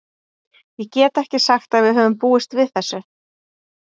Ég get ekki sagt að við höfum búist við þessu.